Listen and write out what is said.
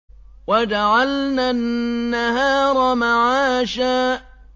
وَجَعَلْنَا النَّهَارَ مَعَاشًا